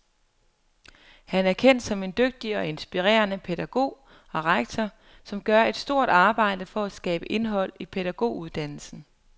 Han er kendt som en dygtig og inspirerende pædagog og rektor, som gør et stort arbejde for at skabe indhold i pædagoguddannelsen.